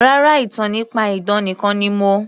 Rárá, ìtàn nípa idán nìkan ni mo